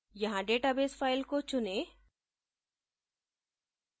यहाँ database file को चुनें